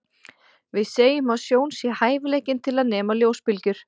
Við segjum að sjón sé hæfileikinn til að nema ljósbylgjur.